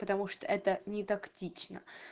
потому что это нетактично